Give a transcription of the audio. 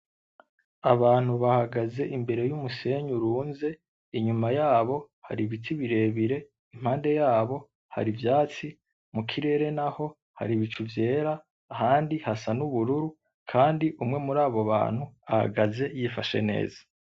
Abantu bahagaze imbere y'umusenyi urunze, inyuma yaho hari ibiti birebire, impande yabo hari ivyatsi, mu kirere naho hari ibicu vyera ahandi hasa n'ubururu kandi umwe muri abo bantu ahagaze yifashe neza.